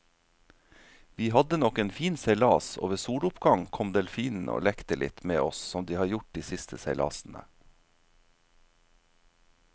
Vi hadde nok en fin seilas, og ved soloppgang kom delfinene og lekte litt med oss som de har gjort de siste seilasene.